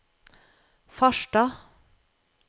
Farstad